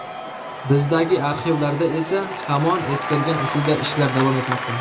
Bizdagi arxivlarda esa hamon eskirgan usulda ishlar davom etmoqda.